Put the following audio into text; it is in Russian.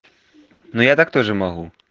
ну я так тоже могу